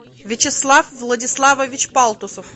вячеслав владиславович палтусов